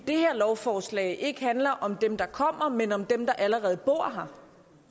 det her lovforslag handler ikke om dem der kommer men om dem der allerede bor her